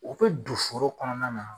A bɛ don foro kɔnɔna na